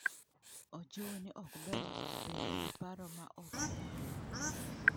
Ojiwo ni ok ber bedo gi paro ma ok owinjore.